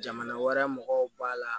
Jamana wɛrɛ mɔgɔw b'a la